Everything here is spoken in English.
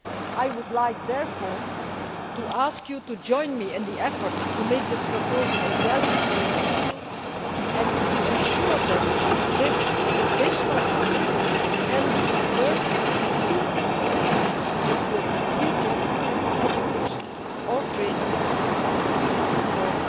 I would like, therefore, to ask you to join me in the effort to make this proposal a reality for young people and to ensure that this additional funding can be converted as soon as possible into a concrete job, education or training offer